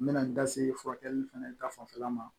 N mɛna n da se furakɛli fɛnɛ ta fanfɛla ma